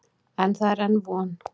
En það er enn von.